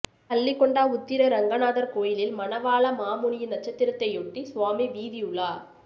பள்ளிகொண்டா உத்திர ரங்கநாதர் கோயிலில் மனவாளமாமுனியின் நட்சத்திரத்தையொட்டி சுவாமி வீதி உலா